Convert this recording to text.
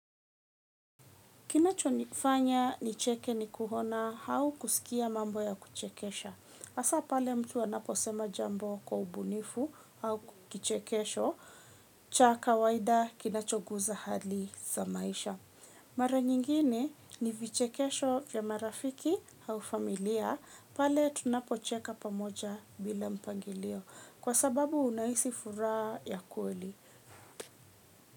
Kinacho nifanya nicheke nikuona au kusikia mambo ya kuchekesha. Hasaa pale mtu anaposema jambo kwa ubunifu au kichekesho, cha kawaida kinachoguza hali za maisha. Mara nyingine ni vichekesho ya marafiki au familia, pale tunapocheka pamoja bila mpangilio. Kwa sababu unahisi furaha ya kweli.